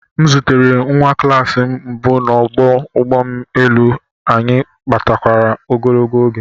M zutere nwa klas m mbụ n'ọdụ ụgbọ elu, anyị kparịtakwara ogologo oge